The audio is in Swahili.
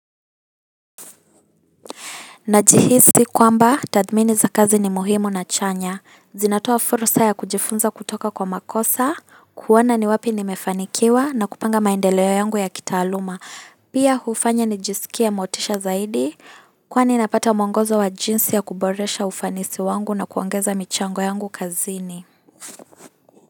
Najihisi kwamba tathmini za kazi ni muhimu na chanya. Zinatoa fursa ya kujifunza kutoka kwa makosa, kuona ni wapi nimefanikiwa na kupanga maendeleo yangu ya kitaaluma. Pia hufanya nijisikie motisha zaidi kwani napata mwongozo wa jinsi ya kuboresha ufanisi wangu na kuongeza michango yangu kazini.